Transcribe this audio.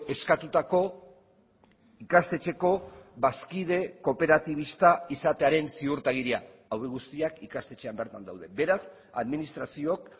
eskatutako ikastetxeko bazkide kooperatibista izatearen ziurtagiria hauek guztiak ikastetxean bertan daude beraz administraziook